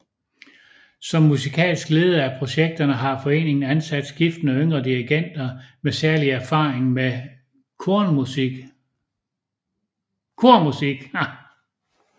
Som musikalsk leder af projekterne har foreningen ansat skiftende yngre dirigenter med særlig erfaring med kormusik